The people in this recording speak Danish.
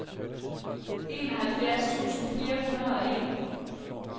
enoghalvfjerds tusind fire hundrede og en